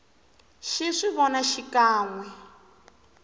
xi swi vona xikan we